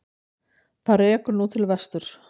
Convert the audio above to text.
Það rekur nú til vesturs.